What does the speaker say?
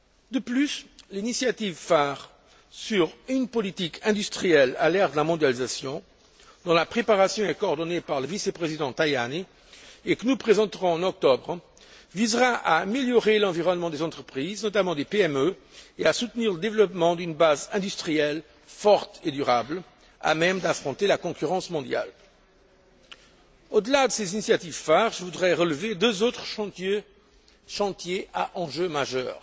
De plus, l'initiative phare concernant Une politique industrielle à l'ère de la mondialisation, dont la préparation est coordonnée par le vice président Tajani, et que nous présenterons en octobre, visera à améliorer l'environnement des entreprises, notamment des PME, et à soutenir le développement d'une base industrielle forte et durable, à même d'affronter la concurrence mondiale. Au delà de ces initiatives phares, je voudrais relever deux autres chantiers à enjeu majeur.